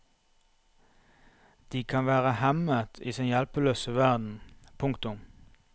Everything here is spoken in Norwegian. De kan være hemmet i sin hjelpeløse verden. punktum